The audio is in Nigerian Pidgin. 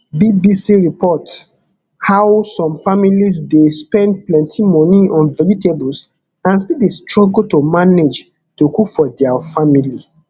bbc report how some families dey spend plenty money on vegetables and still dey struggle to manage to cook for dia family